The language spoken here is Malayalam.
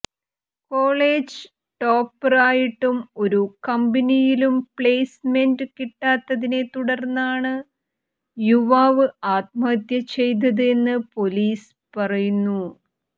കോളേജ് ടോപ്പര് ആയിട്ടും ഒരു കമ്പനിയിലും പ്ലേസ്മെന്റ കിട്ടാത്തതിനെ തുടര്ന്നാണ് യുവാവ് ആത്മഹത്യ ചെയ്തത് എന്ന് പോലീസ് പറുന്നു